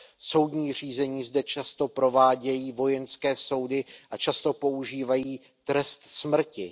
Soudní řízení zde často provádějí vojenské soudy a často používají trest smrti.